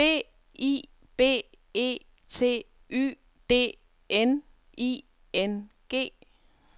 B I B E T Y D N I N G